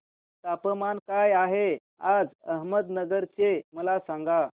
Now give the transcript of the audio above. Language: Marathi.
तापमान काय आहे आज अहमदनगर चे मला सांगा